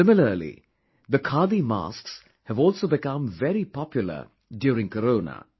Similarly the khadi masks have also become very popular during Corona